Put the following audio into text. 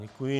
Děkuji.